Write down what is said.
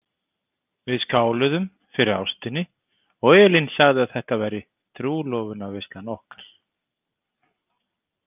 Við skáluðum fyrir ástinni og Elín sagði að þetta væri trúlofunarveislan okkar.